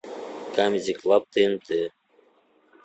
камеди клаб тнт